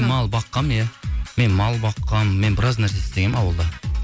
мал баққанмын иә мен мал баққанмын мен біраз нәрсе істегенмін ауылда